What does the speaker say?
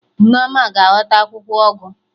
Nneoma ga-aghọta akwụkwọ ụgụ